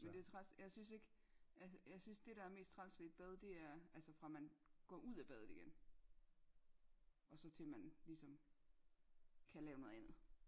Men det træls jeg synes ikke jeg synes det der er mest træls ved et bad det er altså fra man går ud af badet igen og så til man ligesom kan lave noget andet